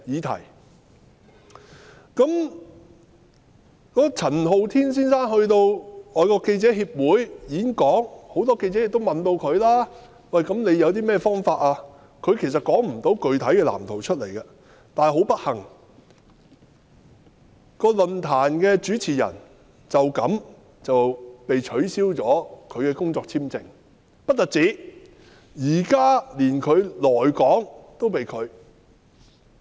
陳浩天先生到香港外國記者會演講，很多記者問他有甚麼方法實現他的理想，他亦說不出個具體藍圖，但很不幸，該論壇的主持人為此被取消了工作簽證，更連來港也被拒。